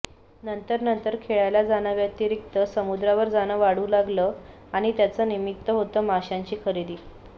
नंतर नंतर खेळायला जाण्याव्यतिरिक्त समुद्रावर जाणं वाढू लागलं आणि त्याचं निमित्त होतं माशांची खरेदी